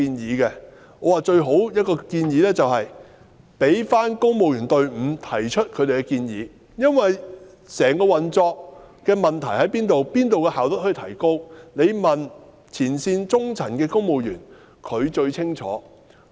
我表示最好交由公務員隊伍提出他們的建議，因為對於整個運作中問題所在之處、可從哪方面提高工作效率，只須問前線的中層公務員，他們最清楚。